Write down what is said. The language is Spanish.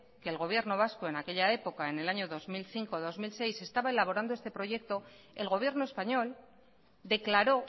que el gobierno vasco en aquella época en el año dos mil cinco dos mil seis estaba elaborando ese proyecto el gobierno español declaró